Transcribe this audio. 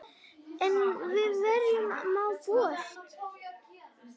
Enn við hverju má búast?